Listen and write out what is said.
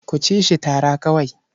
Ku ci shi tara kawai.